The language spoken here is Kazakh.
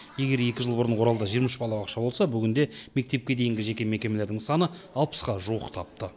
егер екі жыл бұрын оралда жиырма үш балабақша болса бүгінде мектепке дейінгі жеке мекемелердің саны алпысқа жуықтапты